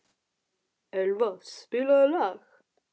Elva, spilaðu lag.